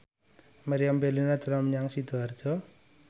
Meriam Bellina dolan menyang Sidoarjo